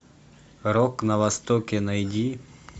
рок на востоке найди